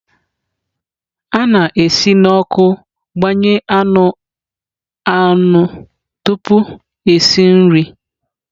A na-esi n'ọkụ gbanye anụ anụ tupu esi nri.